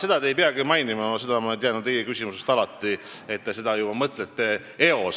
Ega te ei peagi seda mainima, ma tean teie küsimusest alati, et te seda juba eos mõtlete.